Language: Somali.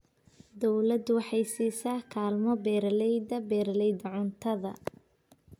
Dawladdu waxay siisaa kaalmo beeralayda beeralayda cuntada.